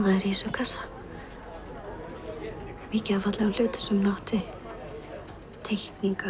kassa mikið af fallegum hlutum sem hún átti teikningar